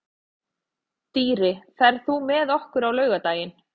Dýri, ferð þú með okkur á laugardaginn?